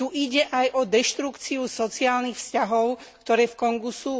Tu ide aj o deštrukciu sociálnych vzťahov, ktoré v Kongu sú.